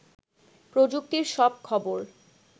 প্রযুক্তির সব খবর